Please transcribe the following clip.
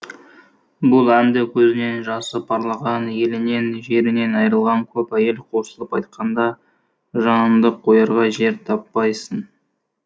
бұл әнді көзінен жасы парлаған елінен жерінен айрылған көп әйел қосылып айтқанда жаныңды қоярға жер таппайсың